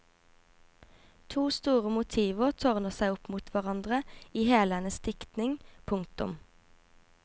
To store motiver tårner seg opp mot hverandre i hele hennes diktning. punktum